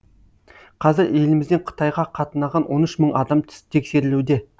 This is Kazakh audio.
қазір елімізден қытайға қатынаған он үш мың адам тексерілуде